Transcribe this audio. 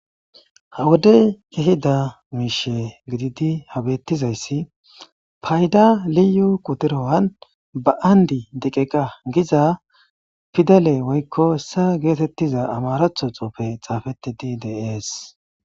Hawodey ehida miishe gididi habettizayssi payda liyu qudurowan ba7andi deqeqa giza fidaley woykko ssa geetettiza amaratho xoufe xaafeti di dees